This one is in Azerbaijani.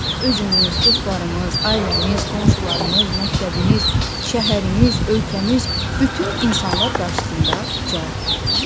Özümüz, dostlarımız, ailəmiz, qonşularımız, məktəbimiz, şəhərimiz, ölkəmiz, bütün insanlar qarşısında cavabdehik?